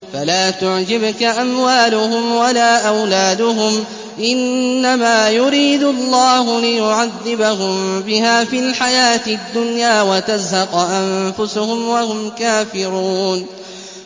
فَلَا تُعْجِبْكَ أَمْوَالُهُمْ وَلَا أَوْلَادُهُمْ ۚ إِنَّمَا يُرِيدُ اللَّهُ لِيُعَذِّبَهُم بِهَا فِي الْحَيَاةِ الدُّنْيَا وَتَزْهَقَ أَنفُسُهُمْ وَهُمْ كَافِرُونَ